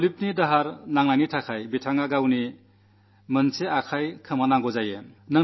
വൈദ്യുതാഘാതമേറ്റതു കാരണം അദ്ദേഹത്തിന് കൈ നഷ്ടപ്പെടുകയായിരുന്നു